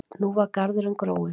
Nú var garðurinn gróinn.